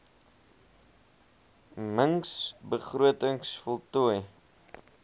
mings begrotings voltooi